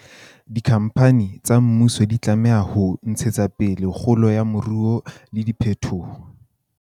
Dikhampani tsa mmuso di tlameha ho ntshetsa pele kgolo ya moruo le diphetoho